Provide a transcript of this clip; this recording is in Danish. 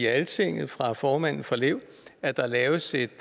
altinget fra formanden for lev at der laves et